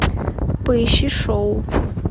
поищи шоу